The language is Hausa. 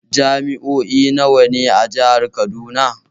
Jami'o'i nawa ne a Jihar Kaduna?